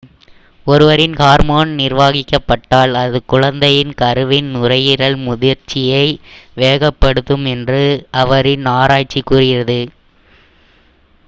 ஒருவரின் ஹார்மோன் நிர்வகிக்கப்பட்டால் அது குழந்தையின் கருவின் நுரையீரல் முதிர்ச்சியை வேகப்படுத்தும் என்று அவரின் ஆராய்ச்சி கூறுகிறது